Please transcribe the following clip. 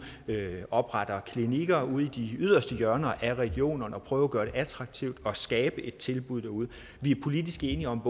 opretter klinikker ude i de yderste hjørner af regionerne og prøver at gøre det attraktivt og skabe tilbud derude vi er politisk enige om